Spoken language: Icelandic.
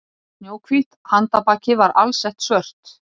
Snjóhvítt handarbakið var alsett svört